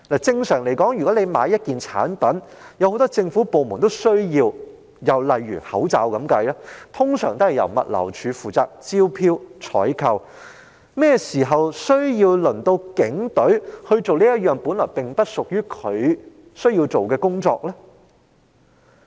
正常來說，若要購買很多政府部門均需要使用的物品，例如口罩，一般會由政府物流服務署負責進行招標和採購，何曾需要警隊處理本來不屬其職責範圍的工作？